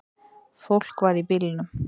Fólk var í bílnum.